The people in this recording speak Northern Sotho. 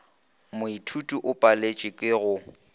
moithuti o paletšwe ke go